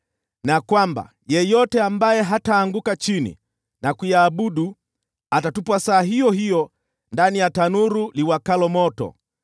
na kwamba yeyote ambaye hataanguka chini na kuiabudu atatupwa saa iyo hiyo ndani ya tanuru iwakayo moto.